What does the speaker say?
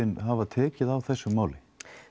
hafa tekið á þessu máli